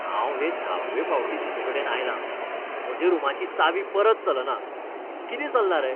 हांव हे धाव्वे फावटीं तुजेकडेन आयलां. म्हज्या रूमाची चावी परत चलना. कितें चल्लां रे?